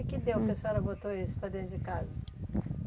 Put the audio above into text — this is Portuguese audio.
E o que deu que a senhora botou esse para dentro de casa?